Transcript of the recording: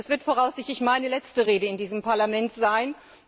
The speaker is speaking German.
Das wird voraussichtlich meine letzte Rede in diesem Parlament sein.